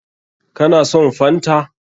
Ka na son fanta?